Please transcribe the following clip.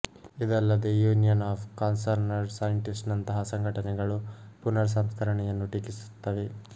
ಇದಲ್ಲದೆ union of concerned scientist ನಂತಹ ಸಂಘಟನೆಗಳು ಪುನರ ಸಂಸ್ಕರಣೆಯನ್ನು ಟೀಕಿಸುತ್ತವೆ